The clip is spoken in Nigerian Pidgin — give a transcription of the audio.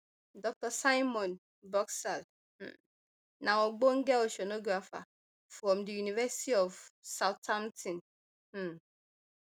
dr simon boxall um na ogbonge oceanographer from di university of southampton um